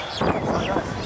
Düşdü məqam.